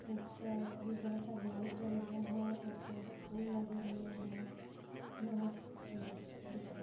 ऊपर बहोत सारे लाइट जल रहे हैं उपर फूल लगे हुए हैं बहोत खूबसूरत दिखाई --